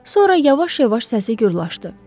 Sonra yavaş-yavaş səsi gurlaşdı.